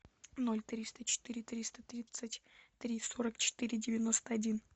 ноль триста четыре триста тридцать три сорок четыре девяносто один